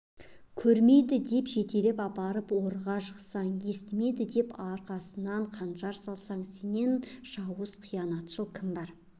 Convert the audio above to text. көрмейді деп жетелеп апарып орға жықсаң естімейді деп арқасынан қанжар салсаң сенен жауыз қиянатшыл кім бар